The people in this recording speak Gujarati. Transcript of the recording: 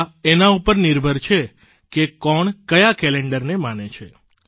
આ એના પર નિર્ભર કરે છે કે કોણ કયા કેલેન્ડરને માને છે